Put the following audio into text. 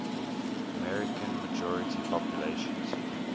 american majority populations